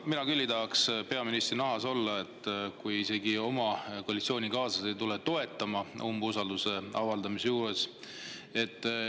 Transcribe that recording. No mina küll ei tahaks peaministri nahas olla, kui isegi koalitsioonikaaslased ei tule toetama umbusalduse avaldamisel.